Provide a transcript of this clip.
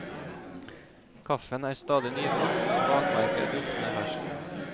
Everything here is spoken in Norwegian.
Kaffen er stadig nykokt og bakverket duftende ferskt.